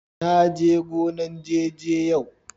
na je gonan " jeje" yau.